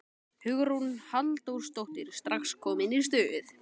Hugrún Halldórsdóttir: Strax komin í stuð?